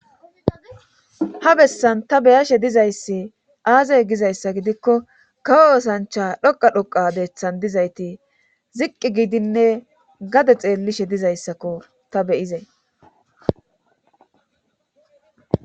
ha bessan ta beyashe dizayssi aazey gizayssa gidikko kawo osancha dhoqa dhoqa deeththan dizayti ziqqi gidinne gade xeellishe dizayssakko ta beyizay